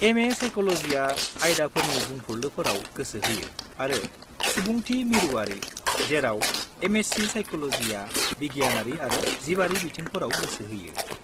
M.A. Psychology आ आयदाफोरनि बुंफुरलुफोराव गोसो होयो आरो सुबुंथि-मिरुआरि, जेराव M.Sc. Psychology आ बिगियानारि आरो जिबारि बिथिंफोराव गोसो होयो।